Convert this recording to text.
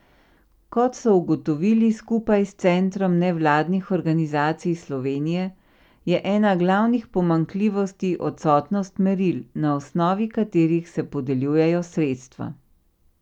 Kot so ugotovili skupaj s Centrom nevladnih organizacij Slovenije, je ena glavnih pomanjkljivosti odsotnost meril, na osnovi katerih se podeljujejo sredstva.